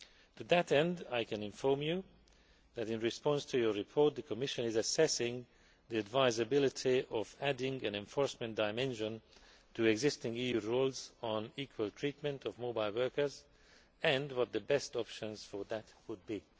To that end, I can inform you that, in response to your report, the Commission is assessing the advisability of adding an enforcement dimension to existing EU rules on equal treatment of mobile workers and what the best options for that would be.